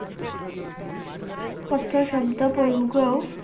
অর্থ শব্দ